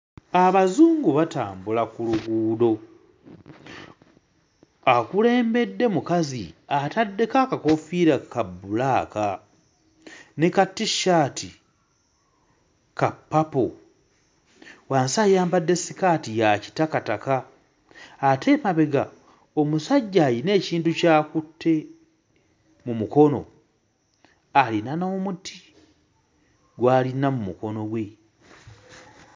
Abazungu batambula ku luguudo. Akulembere mukazi ataddeko akakoofiira ka bbulaaka ne ka t-shirt ka purple. Wansi ayambadde sikaati ya kitakataka, ate emabega omusajja alina ekintu ky'akutte mu mukono, ayina n'omuti gw'ayina mu mukono gwe.